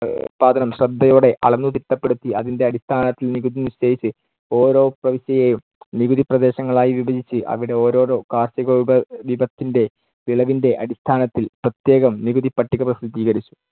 ഉൽപാദനം ശ്രദ്ധയോടെ അളന്നു തിട്ടപ്പെടുത്തി അതിന്‍ടെ അടിസ്ഥാനത്തിൽ നികുതി നിശ്ചയിച്ച്‌ ഓരോ പ്രവിശ്യയേയും നികുതിപ്രദേശങ്ങളായി വിഭജിച്ച് അവിടെ ഓരോരോ കാർഷിക വിഭവ വിഭത്തിന്‍ടെ വിളവിന്‍ടെ അടിസ്ഥാനത്തിൽ പ്രത്യേകം നികുതിപ്പട്ടിക പ്രസിദ്ധീകരിച്ചു.